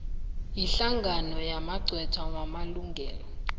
yihlangano yamagqwetha wamalungelo